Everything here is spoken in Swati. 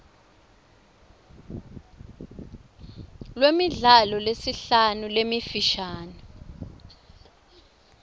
lwemidlalo lesihlanu lemifishane